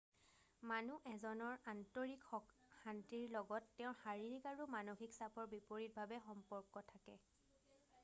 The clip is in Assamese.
মানুহ এজনৰ আন্তৰিক শান্তিৰ লগত তেওঁৰ শাৰীৰিক আৰু মানসিক চাপৰ বিপৰিতভাৱে সম্পৰ্ক থাকে